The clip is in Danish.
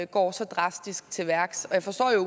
går så drastisk til værks jeg forstår